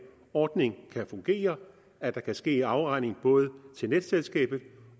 ordning kan fungere at der kan ske afregning både til netselskabet